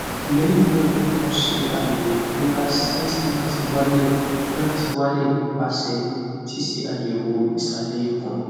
lehina mo se ayewo boya cysts na ti wale na ti wale nipase sise ayewo isale ikun